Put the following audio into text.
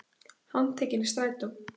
Handteknir í strætó